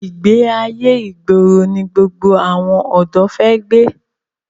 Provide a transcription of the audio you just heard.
Ìgbé ayé ìgboro ni gbogbo àwọn ọ̀dọ́ fi gbé.